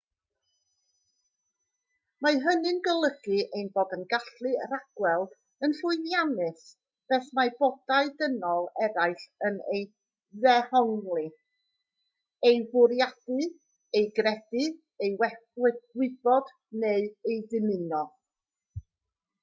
mae hynny'n golygu ein bod yn gallu rhagweld yn llwyddiannus beth mae bodau dynol eraill yn ei ddehongli ei fwriadu ei gredu ei wybod neu ei ddymuno